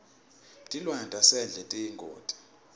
tilwane tasendle tiyingoti